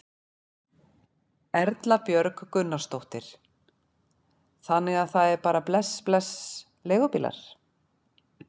Erla Björg Gunnarsdóttir: Þannig að það er bara bless bless leigubílar?